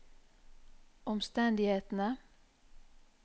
omstendighetene